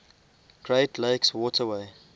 great lakes waterway